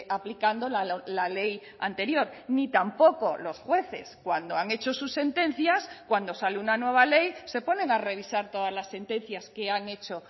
aplicando la ley anterior ni tampoco los jueces cuando han hecho sus sentencias cuando sale una nueva ley se ponen a revisar todas las sentencias que han hecho